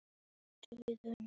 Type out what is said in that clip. Öll erum við ólíkrar gerðar.